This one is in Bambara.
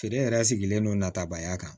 Feere yɛrɛ sigilen don natabaya kan